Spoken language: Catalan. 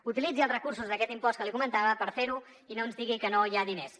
utilitzi els recursos d’aquest impost que li comentava per fer ho i no ens digui que no hi ha diners